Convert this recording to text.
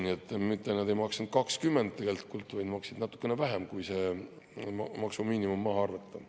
Nii et nad ei maksnud 20%, tegelikult maksid natukene vähem, kui see maksumiinimum maha arvata.